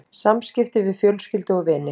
SAMSKIPTI VIÐ FJÖLSKYLDU OG VINI